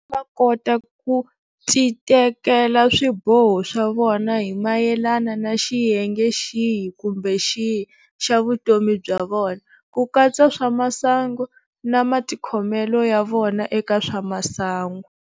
Va kota ku titekela swiboho swa vona hi mayelana na xiyenge xihi kumbe xihi xa vutomi bya vona, ku katsa swa masangu na matikhomelo ya vona eka swa masangu.